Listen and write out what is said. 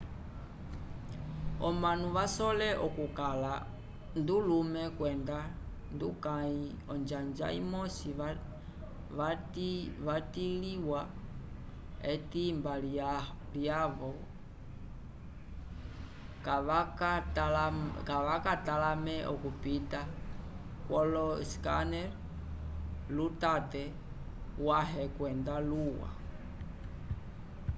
omanu vasole okukala ndulume kwenda ndukãyi onjanja imosi vatliwa etimba lyavo kavakatalamele okupita kwolo scanners lutate wãhe kwenda luwa